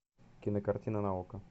кинокартина на окко